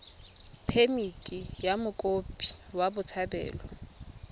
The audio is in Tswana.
phemithi ya mokopi wa botshabelo